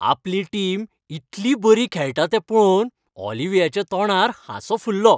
आपली टीम इतली बरी खेळटा तें पळोवन ऑलिव्हियाच्या तोंडार हांसो फुललो.